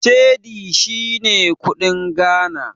Cedi shine kuɗin Ghana.